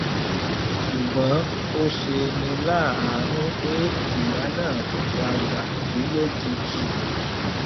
ṣùgbọn ó ṣe ní láàánú pé ìyá náà padà kú lójijì